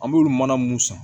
An b'olu mana mun san